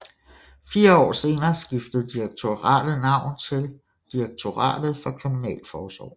Fire år senere skiftede direktoratet navn til Direktoratet for Kriminalforsorgen